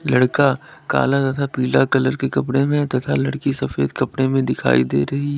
लड़का काला तथा पीला कलर के कपड़े में तथा लड़की सफेद कपड़े में दिखाई दे रही है।